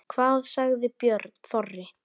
Hvað sagði Björn Þorri?